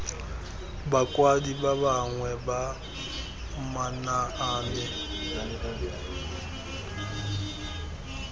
bakwadi ba bangwe ba manaane